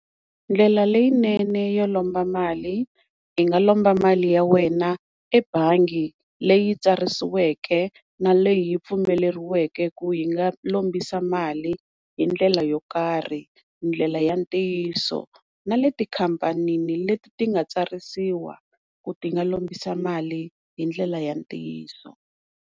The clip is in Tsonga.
Ndlela leyinene yo lomba mali i nga lomba mali ya wena ebangi leyi tsarisiweke na leyi pfumeleriweke ku yi nga lombisa mali hindlela yo karhi ndlela ya ntiyiso na leti khampanini leti nga tsarisiwa ku ti nga lombisa mali hindlela ya ntiyiso.